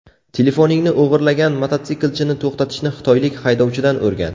Telefoningni o‘g‘irlagan mototsiklchini to‘xtatishni xitoylik haydovchidan o‘rgan!